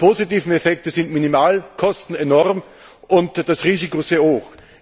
Die positiven Effekte sind minimal, die Kosten enorm, und das Risiko ist sehr hoch.